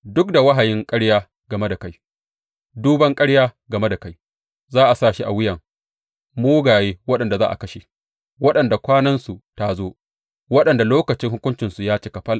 Duk da wahayin ƙarya game da kai, duban ƙarya game da kai, za a sa shi a wuyan mugaye waɗanda za a kashe, waɗanda kwanansu ta zo, waɗanda lokacin hukuncinsu ya cika fal.